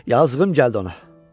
Yazığım gəldi ona.